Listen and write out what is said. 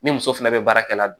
Ni muso fɛnɛ bɛ baarakɛla la